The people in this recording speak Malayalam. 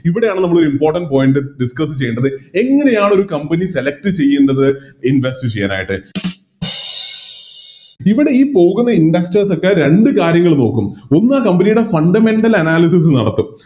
ഇവിടെയാണ് നമ്മള് Important point discuss ചെയ്യേണ്ടത് എങ്ങനെയാണൊരു Company select ചെയ്യേണ്ടത് Invest ചെയ്യാനായിട്ട് ഇവിടെ ഈ പോകുന്ന Investors ഒക്കെ രണ്ട് കാര്യങ്ങള് നോക്കും ഒന്ന് Company യുടെ Fundamental analysis നടത്തും